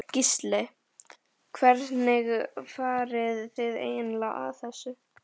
Gísli: Hvernig farið þið eiginlega að þessu?